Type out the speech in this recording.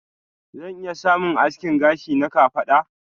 Zan iya samun aski gashi na kafada.